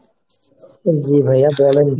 জি ভাইয়া বলেন।